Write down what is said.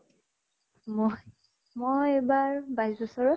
মই মই এইবাৰ বাইছ বছৰত।